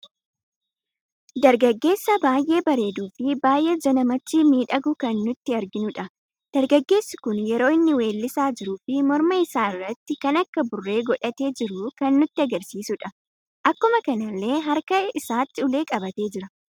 Dargaggeessa baay'ee bareedu fi baay'ee ija namatti miidhagu kan nuti arginudha. dargaggeessi kun yeroo inni weellisa jiru fi morma isaa irratti wan akka burree godhate jiru kan nutti agarsiiisuudha..Akkuma kanalle harkaa isaatti ulee qabate jira.